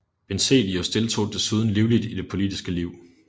Benzelius deltog desuden livligt i det politiske liv